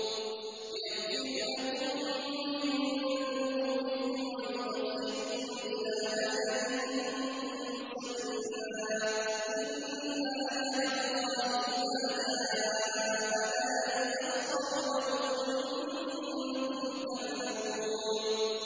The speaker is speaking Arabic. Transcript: يَغْفِرْ لَكُم مِّن ذُنُوبِكُمْ وَيُؤَخِّرْكُمْ إِلَىٰ أَجَلٍ مُّسَمًّى ۚ إِنَّ أَجَلَ اللَّهِ إِذَا جَاءَ لَا يُؤَخَّرُ ۖ لَوْ كُنتُمْ تَعْلَمُونَ